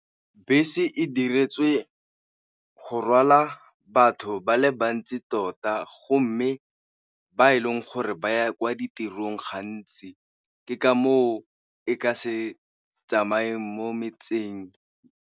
Bese e diretswe go rwala batho ba le bantsi tota, go mme ba e leng gore ba ya kwa ditirong gantsi ke ka moo e ka se tsamaye mo metseng.